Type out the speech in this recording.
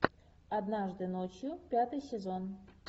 однажды ночью пятый сезон